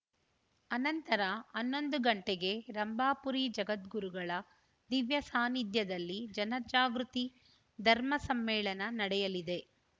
ಅನಂತರ ಹನ್ನೊಂದು ಗಂಟೆಗೆ ರಂಭಾಪುರಿ ಜಗದ್ಗುರುಗಳ ದಿವ್ಯ ಸಾನ್ನಿಧ್ಯದಲ್ಲಿ ಜನಜಾಗೃತಿ ಧರ್ಮ ಸಮ್ಮೇಳನ ನಡೆಯಲಿದೆ